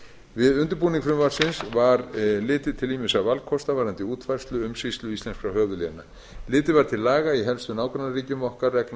við undirbúning frumvarpsins var litið til ýmissa valkosta varðandi útfærslu umsýslu íslenskra höfuðléna litið var til laga í helstu nágrannaríkjum okkar reglna